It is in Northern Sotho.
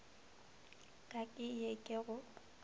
ka ke ye ke go